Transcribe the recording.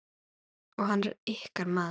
Og hann er ykkar maður.